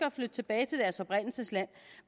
at flytte tilbage til deres oprindelsesland